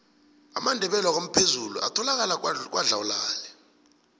amandebele wakwamphezulu atholakala kwadlawulale